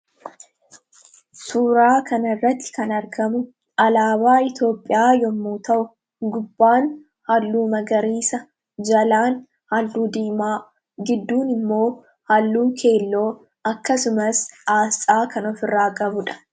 suuraa kana irratti kan argamu alaabaa Itoophiyaa yommuu ta'u gubbaan halluu magariisa jalaan halluu diimaa gidduun immoo halluu keelloo akkasumas aasxaa kan of irraa qabudha.